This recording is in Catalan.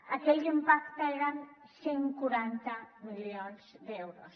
aquell impacte eren cent i quaranta milions d’euros